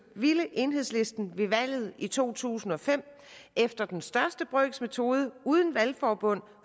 ville enhedslisten ved valget i to tusind og fem efter den største brøks metode uden valgforbund